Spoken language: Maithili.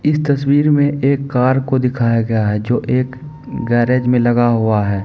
इस तस्वीर में एक कार को दिखाया गया है जो एक गैराज में लगा हुआ है।